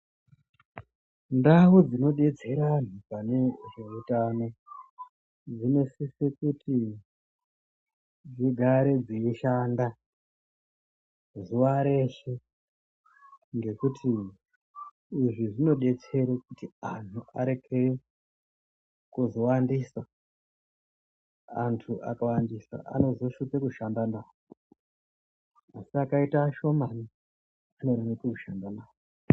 Ndau dzinodetsera anhu panezveutano dzinosise kuti dzigare dzeishanda zuwa reshe ngekuti izvi zvinodetsere kuti anhu arekere kuzowandisa. Antu akawandisa anozoshupa kushanda nawo asi akaite ashomani zvinoreruka kushanda navo.